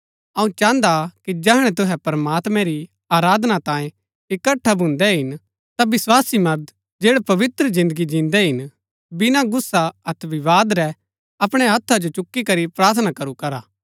अऊँ चाहन्दा कि जैहणै तुहै प्रमात्मैं री आराधना तांये इकट्ठा भून्दै हिन ता विस्वासी मर्द जैड़ै पवित्र जिन्दगी जिन्दै हिन बिना गुस्सा अतै विवाद रै अपणै हत्था जो चुक्की करी प्रार्थना करू करा